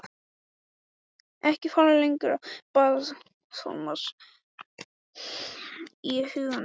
Ekki fara lengra, bað Thomas í huganum.